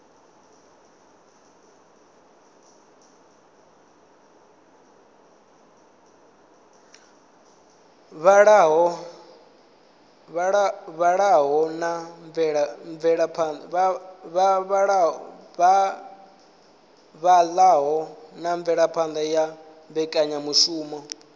vhalaho na mvelaphana ya mbekanyamushumo